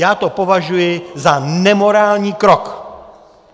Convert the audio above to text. Já to považuji za nemorální krok.